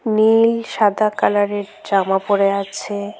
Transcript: নীল সাদা কালার -এর জামা পরে আছে।